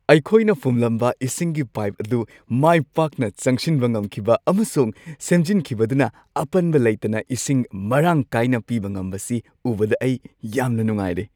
ꯑꯩꯈꯣꯏꯅ ꯐꯨꯝꯂꯝꯕ ꯏꯁꯤꯡꯒꯤ ꯄꯥꯏꯞ ꯑꯗꯨ ꯃꯥꯏ ꯄꯥꯛꯅ ꯆꯪꯁꯤꯟꯕ ꯉꯝꯈꯤꯕ ꯑꯃꯁꯨꯡ ꯁꯦꯝꯖꯤꯟꯈꯤꯕꯗꯨꯅ ꯑꯄꯟꯕ ꯂꯩꯇꯅ ꯏꯁꯤꯡ ꯃꯔꯥꯡ ꯀꯥꯏꯅ ꯄꯤꯕ ꯉꯝꯕꯁꯤ ꯎꯕꯗ ꯑꯩ ꯌꯥꯝꯅ ꯅꯨꯡꯉꯥꯏꯔꯦ ꯫